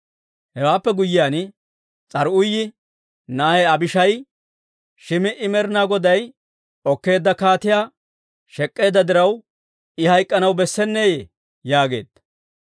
Hewaappe guyyiyaan, S'aruuyi na'ay Abishaayi, «Shim"i Med'inaa Goday okkeedda kaatiyaa shek'k'eedda diraw, I hayk'k'anaw bessenneeyye?» yaageedda.